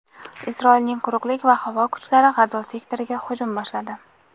Isroilning quruqlik va havo kuchlari G‘azo sektoriga hujum boshladi.